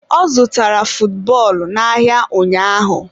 Ọ zụtara futbọọlụ n'ahịa ụnyaahụ.